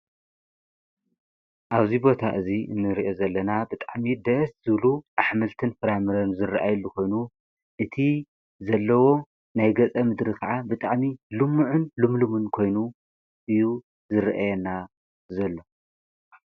ኣብዚይ ቦታ እዙይ እንርአ ዘለና ብጣዕሚ ደስ ዝሉ ኣኅምልትን ፍራምረን ዝርአየሊ ኾይኑ እቲ ዘለዎ ናይ ገጸ ምድሪ ከዓ ብጣሚ ሉምዕን ሉምልምን ኮይኑ እዩ ዝርአየና ዘሎ።